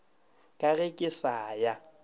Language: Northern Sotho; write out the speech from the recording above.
ka ge ke sa ya